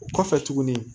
O kɔfɛ tuguni